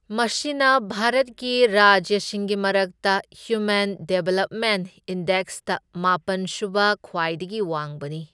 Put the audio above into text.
ꯃꯁꯤꯅ ꯚꯥꯔꯠꯀꯤ ꯔꯥꯖ꯭ꯌꯁꯤꯡꯒꯤ ꯃꯔꯛꯇ ꯍ꯭ꯌꯨꯃꯦꯟ ꯗꯦꯕꯂꯞꯃꯦꯟꯠ ꯏꯟꯗꯦꯛꯁꯇ ꯃꯥꯄꯟ ꯁꯨꯕ ꯈ꯭ꯋꯥꯏꯗꯒꯤ ꯋꯥꯡꯕꯅꯤ꯫